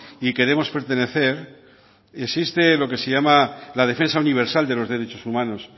y queremos pertenecer existe lo que se llama la defensa universal de los derechos humanos